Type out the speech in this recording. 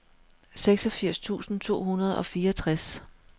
seksogfirs tusind to hundrede og fireogtres